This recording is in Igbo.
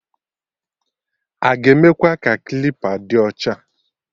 Aga emekwa ka klipa dị ọcha?